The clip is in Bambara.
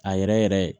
A yɛrɛ yɛrɛ